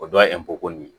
O dɔ ye ko nin